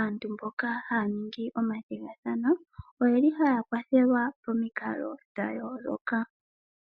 Aantu mboka ha ua ningi omathigathano oye li ha ya kwathelwa, pamikalo dha yooloka.